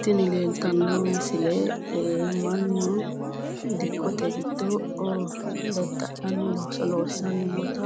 Tini leeltanno misile mannu dikkote giddoonni dadda'lanni looso loosiranni noota